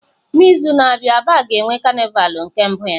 N'izu a na-abịa aba ga-enwe carnival nke mbụ ya.